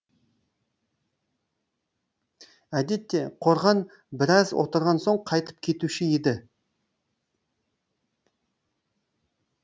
әдетте қорған біраз отырған соң қайтып кетуші еді